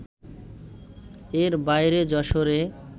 এর বাইরে যশোরে